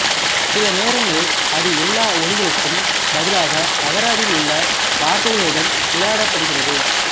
சில நேரங்களில் அது எல்லா ஒலிகளுக்கும் பதிலாக அகராதியில் உள்ள வார்த்தைகளுடன் விளையாடபடுகிற்து